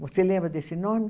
Você lembra desse nome?